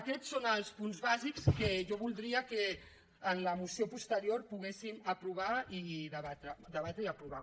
aquests són els punts bàsics que jo voldria que en la moció posterior poguéssim debatre i aprovar